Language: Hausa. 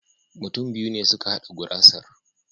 Mutum biyu ne suka hada gurasar.